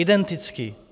Identický.